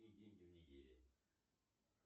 какие деньги в нигерии